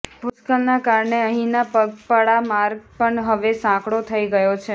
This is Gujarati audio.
ભૂસ્ખલનના કારણે અહીંનો પગપાળા માર્ગ પણ હવે સાંકડો થઈ ગયો છે